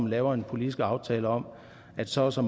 laver en politisk aftale om at så og så